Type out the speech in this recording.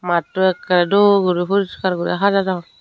matto ekey duo guri poriskar guri hajadon.